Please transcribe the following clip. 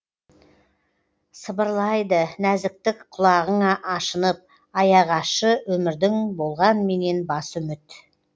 сыбырлайды нәзіктік құлағыңа ашынып аяғы ащы өмірдің болғанменен басы үміт